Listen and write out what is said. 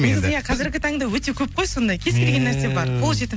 негізі иә қазіргі таңда өте көп қой сондай кез келген нәрсе бар қол жетім